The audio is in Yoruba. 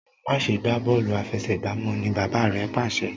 ma ṣe gbà Bọ́ọ̀lù àfẹsẹ̀gbá mọ! ní bàbá rẹ pàṣẹ.